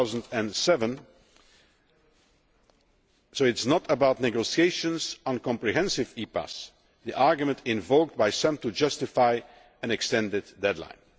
2007. So it is not about negotiations on comprehensive EPAs, the argument invoked by some to justify an extended deadline.